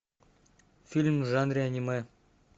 фильм в жанре аниме